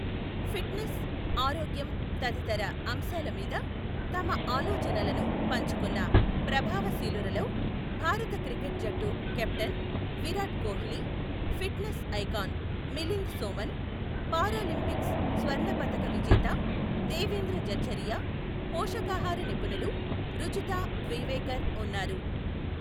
Fit Nes, ఆరోగ్యం తదితర అంశాలమీద తమ ఆలొచనలను పంచుకున్న ప్రభావశీలురలో భారత క్రికెట్ జట్టు captain Virat Kohli, fitness icon Milind Soman, Paralympics స్వర్ణపతక విజేత దేవేంద్ర జఝారియా, పోషకాహార నిపుణులు రుజుతా ద్వివేకర్ ఉన్నారు.